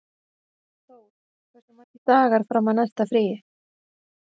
Þór, hversu margir dagar fram að næsta fríi?